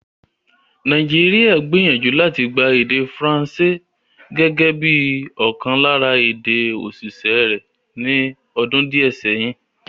Nàìjíríà gbìyànjú láti gba èdè Faransé gẹ́gẹ́ bí i ọ̀kan lára èdè-òṣìṣẹ́ rẹ̀ ní ọdún díẹ̀ sẹ́yìn.